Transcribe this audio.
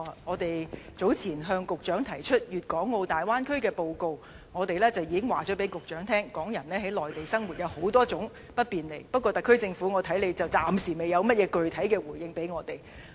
我們早前向局長提出粵港澳大灣區的報告，當中已經向局長提出港人於內地生活有諸多不便，但我估計特區政府暫時不能有甚麼具體回應。